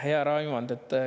Hea Raimond!